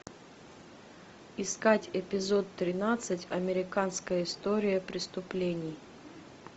искать эпизод тринадцать американская история преступлений